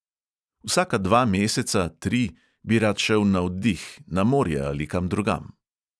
Vsaka dva meseca, tri bi rad šel na oddih, na morje ali kam drugam.